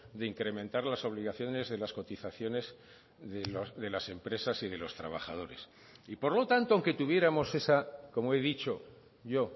de incrementar las obligaciones de las cotizaciones de las empresas y de los trabajadores y por lo tanto aunque tuviéramos esa como he dicho yo